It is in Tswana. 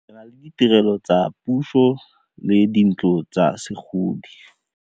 Re na le ditirelo tsa setso le dintlo tsa segodi.